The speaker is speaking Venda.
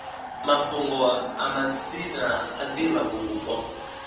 mafhungo a madzina a divhavhupo